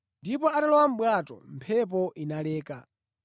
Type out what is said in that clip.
Ndipo atalowa mʼbwato mphepo inaleka.